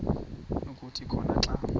kuthi khona xa